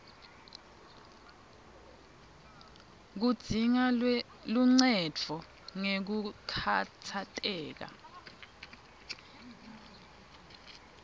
kudzinga luncendvo ngekukhatsateka